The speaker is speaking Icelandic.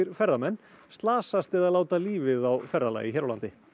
ferðamenn slasast eða láta lífið á ferðalagi hér á landi